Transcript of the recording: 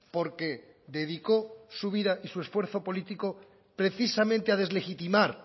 porque dedicó su vida y su esfuerzo político precisamente a deslegitimar